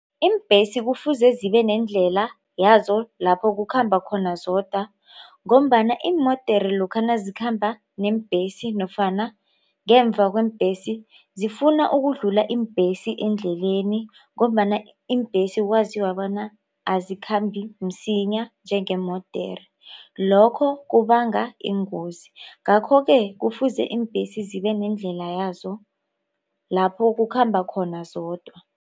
Iimbhesi kufuze zibe nendlela yazo lapho kukhamba khona zodwa ngombana iimodere lokha nazikhamba neembhesi nofana ngemva kweembhesi zifuna ukudlula iimbhesi endleleni ngombana iimbhesi kwathiwa bona azikhambi msinya njengeemodere lokho kubanga iingozi. Ngakho-ke kufuze iimbhesi zibe nendlela yazo lapho kukhamba khona zodwa.